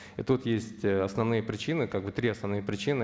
и тут есть основные причины как бы три основные причины